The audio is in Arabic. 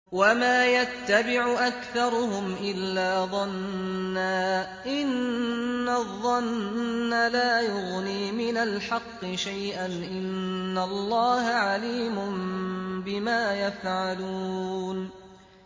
وَمَا يَتَّبِعُ أَكْثَرُهُمْ إِلَّا ظَنًّا ۚ إِنَّ الظَّنَّ لَا يُغْنِي مِنَ الْحَقِّ شَيْئًا ۚ إِنَّ اللَّهَ عَلِيمٌ بِمَا يَفْعَلُونَ